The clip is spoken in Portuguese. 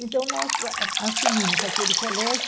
Então, nós assumimos aquele colégio.